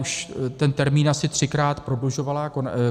Už ten termín asi třikrát prodlužovala.